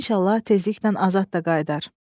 İnşallah tezliklə Azad da qayıdar.